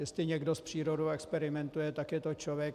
Jestli někdo s přírodou experimentuje, tak je to člověk.